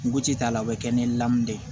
Nuguti t'a la o bɛ kɛ ni lamɛn de ye